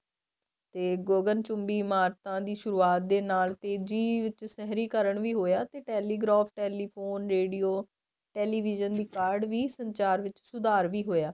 ਤੇ ਗੋਗਨ ਚੁੰਬੀ ਇਮਾਰਤਾਂ ਦੀ ਸੁਰੂਆਤ ਦੇ ਨਾਲ ਤੇਜ਼ੀ ਚ ਸਹਿਰੀਕਰਨ ਵੀ ਹੋਇਆ ਤੇ telegraph telephone radio television ਦੀ ਕਾਢ ਵੀ ਸੰਚਾਰ ਵਿੱਚ ਸੁਧਾਰ ਵੀ ਹੋਇਆ